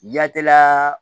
Yataa